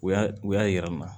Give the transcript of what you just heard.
U y'a u y'a jira n na